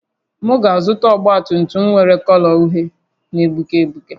M ga-azụta ọgba tum tum nwere kọlọ uhie na-egbuke egbuke